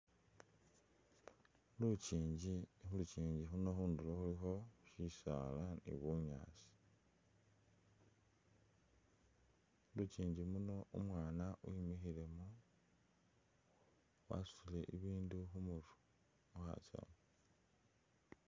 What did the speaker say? Lukyingi, khulukyingi khuno khundulo khulikho shisaala ni bunyaasi, mulukyingi muno umwana wimikhilemo wasutile bi bindu khumurwe mukhasawu.